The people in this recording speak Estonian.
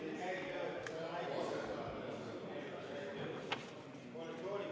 Läheme seaduseelnõu 148 lõpphääletuse juurde.